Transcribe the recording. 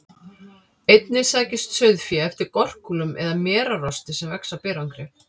Einnig sækist sauðfé eftir gorkúlum eða merarosti sem vex á berangri.